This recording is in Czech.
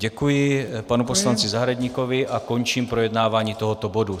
Děkuji panu poslanci Zahradníkovi a končím projednávání tohoto bodu.